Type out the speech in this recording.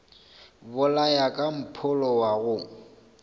bolaya ka mpholo wa go